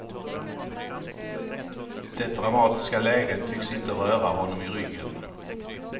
Det dramatiska läget tycks inte röra honom i ryggen.